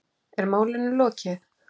Er málinu lokið?